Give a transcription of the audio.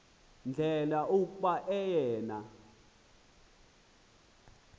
ndlela kuba oyena